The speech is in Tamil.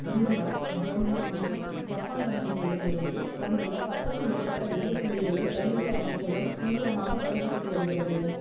இந்தியா ஜெர்மன் மற்றும் ஜப்பான் கம்பெனிகளிடமிருந்து வந்துள்ள பத்துக்கு மேற்பட்ட விலை புள்ளிகளை ரயில்வே அமைச்சகம் தீவிரமாக பரிசீலித்து வரிகிறது